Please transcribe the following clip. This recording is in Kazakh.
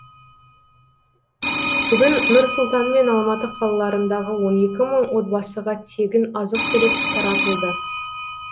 бүгін нұрсұлтан мен алматы қалаларындағы он екі мың отбасыға тегін азық түлік таратылды